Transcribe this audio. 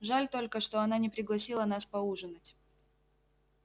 жаль только что она не пригласила нас поужинать